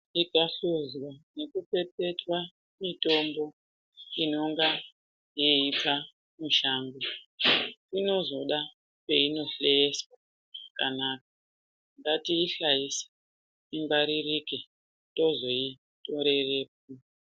Ikahluzwa nekupepetetwa mutombo inenga yeiita mutombo inozoda peinohleeswa kana ngatiishaise ingwaririke tozoitorerepo.